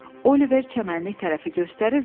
Oliver çəmənliyi tərəfi göstərir və deyirdi.